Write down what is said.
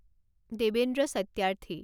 Devendra Satyarthi